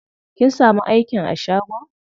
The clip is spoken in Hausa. Kin samu aikin a shagon?